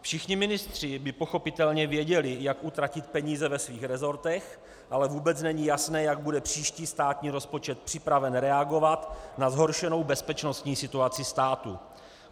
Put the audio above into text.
Všichni ministři by pochopitelně věděli, jak utratit peníze ve svých rezortech, ale vůbec není jasné, jak bude příští státní rozpočet připraven reagovat na zhoršenou bezpečnostní situaci státu.